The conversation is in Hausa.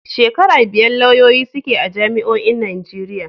Shekara biyar lauyoyi suke a jami'o'in Najeriya.